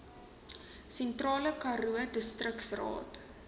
sentraal karoo distriksraad